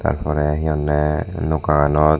tar porey hi honney nokanot.